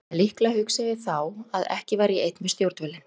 En líklega hugsaði ég þá að ekki væri ég einn við stjórnvölinn.